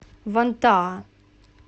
вантаа